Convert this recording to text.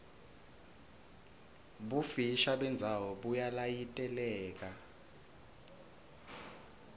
bufisha bendzawo buyalayiteleka